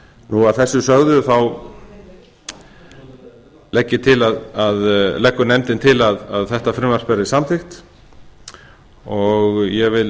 nú að þessu sögðu þá leggur nefndin til að þetta frumvarp verði samþykkt og ég vil